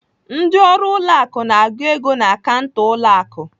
Ndị ọrụ ụlọ akụ na-agụ ego na kanta ụlọ akụ.